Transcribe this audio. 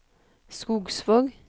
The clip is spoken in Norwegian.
Skogsvåg